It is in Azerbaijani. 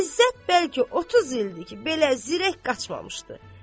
İzzət bəlki 30 ildir ki, belə zirək qaçmamışdı.